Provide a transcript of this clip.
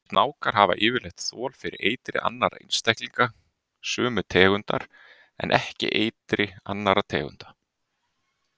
Snákar hafa yfirleitt þol fyrir eitri annarra einstaklinga sömu tegundar en ekki eitri annarra tegunda.